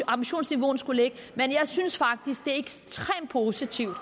ambitionsniveauet skulle ligge men jeg synes faktisk det er ekstremt positivt